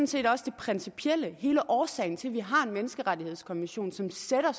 set også det principielle hele årsagen til at vi har en menneskerettighedskonvention som sætter